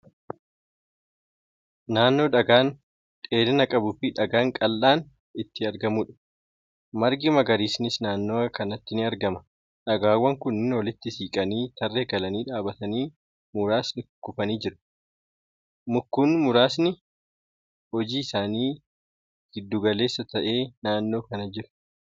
Naannoo dhagaan dheerina qabuu fi dhagaan qaqal'aan itti argamuudha. margi magariisni naannawa kanatti ni argama. dhagaawwan kunniin walitti siiqanii tarree galanii dhaabatanii muraasni kukkufanii jiru. mukkuun muraasni hojji isaanii gidduu galeessaa ta'e naannoo kana jiru.